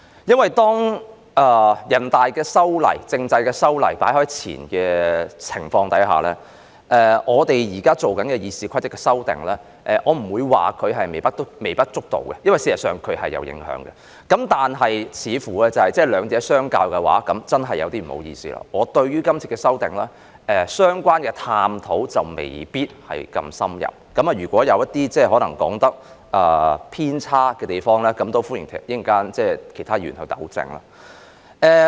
在面對全國人民代表大會通過修改香港選舉制度的決定的當前，我們現在進行修訂《議事規則》，我不會說後者是微不足道，因為事實上也會有所影響；但是，當比較兩者的時候——我要說聲不好意思——我對這次修訂的探討沒有這麼深入，如果我的發言內容有偏差的話，歡迎其他議員作出糾正。